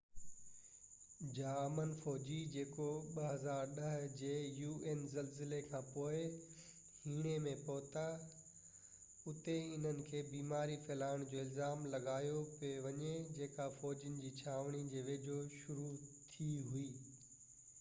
un جا امن فوجي جيڪو 2010 جي زلزلي کانپوءِ هيٽي ۾ پهتا اتي انهن کي بيماري ڦهلائڻ جو الزام لڳايو پيو وڃي جيڪا فوجين جي ڇانوڻي جي ويجهو شروع ٿي هئي